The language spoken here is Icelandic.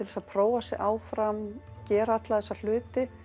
að prófa sig áfram gera alla þessa hluti